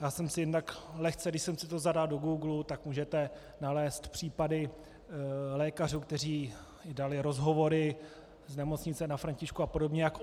Já jsem si jednak lehce - když jsem si to zadal do Googlu, tak můžete nalézt případy lékařů, kteří dali rozhovory, z Nemocnice na Františku a podobně, jak